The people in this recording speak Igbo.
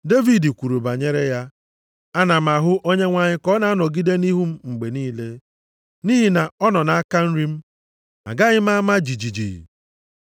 Devid kwuru banyere ya, “ ‘Ana m ahụ Onyenwe anyị ka ọ na-anọgide nʼihu m mgbe niile. Nʼihi na ọ nọ nʼaka nri m. Agaghị m ama jijiji.